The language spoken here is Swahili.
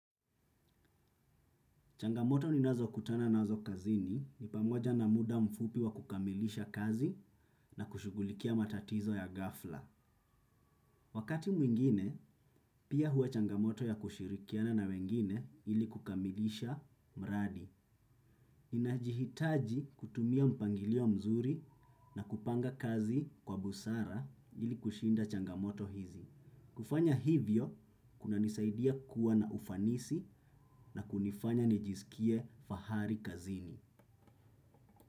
Changamoto ninazokutana nazo kazini ni pamoja na muda mfupi wa kukamilisha kazi na kushughulikia matatizo ya ghafla. Wakati mwingine, pia huwa changamoto ya kushirikiana na wengine ili kukamilisha mradi. Inajihitaji kutumia mpangilio mzuri na kupanga kazi kwa busara ili kushinda changamoto hizi. Kufanya hivyo, kunanisaidia kuwa na ufanisi na kunifanya nijisikie fahari kazini.